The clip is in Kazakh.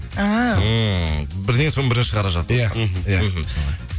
әәә ммм бірінен соң бірі шығарып жатыр иә мхм мхм